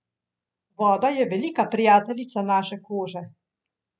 Voda je velika prijateljica naše kože.